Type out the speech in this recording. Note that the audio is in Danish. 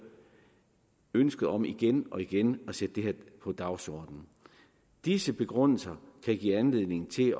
ønske om igen og igen at sætte det her på dagsordenen disse begrundelser kan give anledning til